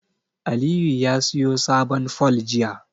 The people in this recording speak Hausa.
Aliyu ya siyo sabon fol jiya.